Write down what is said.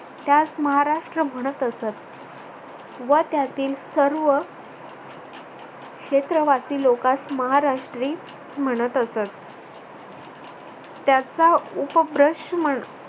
त्यास महाराष्ट्र म्हणत असत व त्यातील सर्व क्षेत्रवासी लोकांस महाराष्ट्री म्हणत असत. त्याचा उपप्रश्न